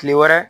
Kile wɛrɛ